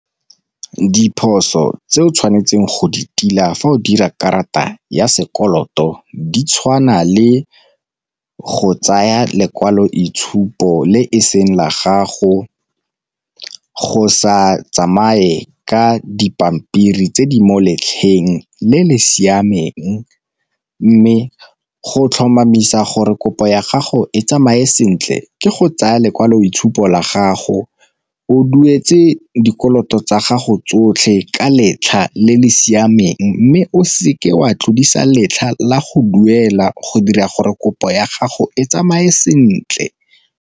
Diphoso tse o tshwanetseng go di tila fa o dira karata ya sekoloto di tshwana le go tsaya lekwaloitshupo le e seng la gago, go sa tsamaye ka dipampiri tse di mo letlheng le le siameng. Mme go tlhomamisa gore kopo ya gago e tsamaye sentle ke go tsaya lekwaloitshupo la gago, o duetse dikoloto tsa gago tsotlhe ka letlha le le siameng mme o seke wa tlodisa letlha la go duela go dira gore kopo ya gago e tsamaye sentle.